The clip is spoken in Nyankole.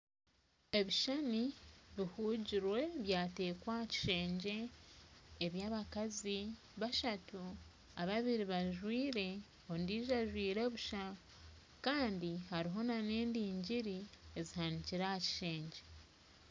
Ebishushani bihuugirwe byateekwa aha kishengye ebyabakazi bashatu ababiri bajwaire ondiijo ajwaire busha Kandi hariho nana endingiri ezihanikire aha kishengye